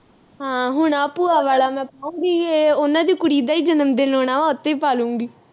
ਹਾਂ ਹੁਣ ਆਹ ਭੂਆ ਵਾਲਾ ਮੈਂ ਪਾਉਗੀ ਇਹ ਉਨ੍ਹਾਂ ਦੀ ਕੁੜੀ ਦਾ ਈ ਜਨਮਦਿਨ ਆਉਣਾ ਵਾ ਉਹ ਤੇ ਪਾਲੂੰਗੀ